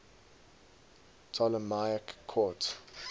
ptolemaic court